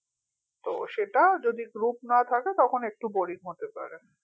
তো সেটা যদি group না থাকে তখন একটু boring হতে পারে